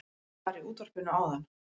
Það var í útvarpinu áðan